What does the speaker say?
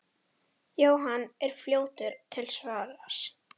Jóhann er fljótur til svars.